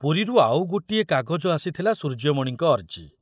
ପୁରୀରୁ ଆଉ ଗୋଟିଏ କାଗଜ ଆସିଥିଲା ସୂର୍ଯ୍ୟମଣିଙ୍କ ଅର୍ଜି।